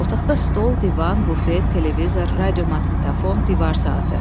Otaqda stol, divan, bufet, televizor, radiomaqnitafon, divar saatı.